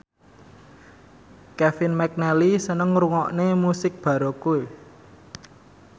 Kevin McNally seneng ngrungokne musik baroque